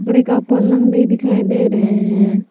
बड़े का पलंग भी दिखाई दे रहे हैं।